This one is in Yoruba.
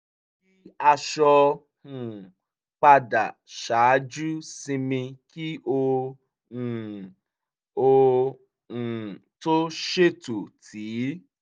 aṣọ um padà ṣáájú sinmi kí ó um ó um tó ṣètò tíì